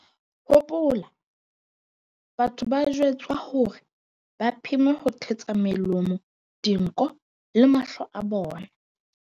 "Hopola, batho ba jwetswa hore ba pheme ho thetsa melomo, dinko le mahlo a bona."